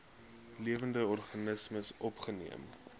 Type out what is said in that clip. lewende organismes opgeneem